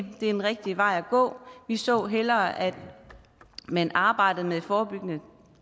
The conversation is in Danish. det er den rigtige vej at gå vi så hellere at man arbejdede med forebyggende